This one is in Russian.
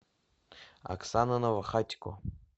оксана новохатько